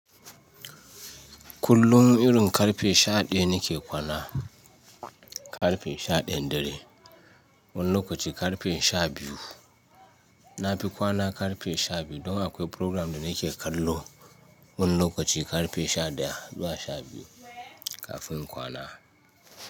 Kullum irin ƙarfe sha ɗaya nake kwana, ƙarfe sha ɗayan dare. Wani lokaci ƙarfe sha biyu. Na fi kwana ƙarfe sha biyu don akwai programme da nake kallo wani lokaci ƙarfe sha ɗaya zuwa sha biyu kafin in kwana.